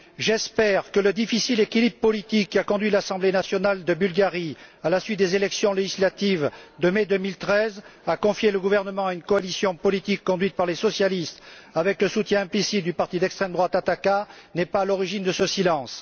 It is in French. J'espère que le difficile équilibre politique, qui a conduit l'assemblée nationale de Bulgarie, à la suite des élections législatives de mai 2013, à confier le gouvernement à une coalition politique conduite par les socialistes avec le soutien implicite du parti d'extrême droite Ataka, n'est pas à l'origine de ce silence.